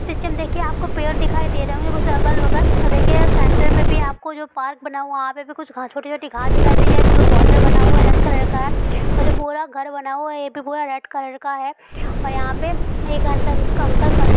Picture में देखिए आपके पेड दिखाई दे रहे कुछ अगल बगल| देखिये सेंटर में भी आपको जो पार्क बना है वह पे भी कुछ छोटी-छोटी घास दिखाई दे रही है| जो बॉर्डर बना है वह रेड कलर का और जो पूरा घर बना हुआ है ये भी पूरा रेड कलर का है| और यहां पे कंकड़ अंकल खड़े है।